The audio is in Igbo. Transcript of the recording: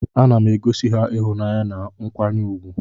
Anam egosi ha ihunanya na nkwanye ugwu.